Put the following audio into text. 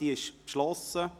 Diese ist abgeschlossen.